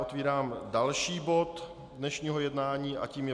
Otvírám další bod dnešního jednání a tím je